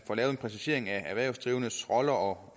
får lavet en præcisering af erhvervsdrivendes rolle og